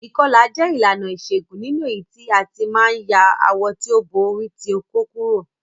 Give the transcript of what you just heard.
Ìkọlà jẹ ìlànà ìṣégún nínú èyítí a ti ma n ya awọ ti o bo ori ti okó kurò.